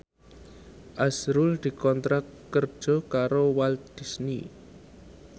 azrul dikontrak kerja karo Walt Disney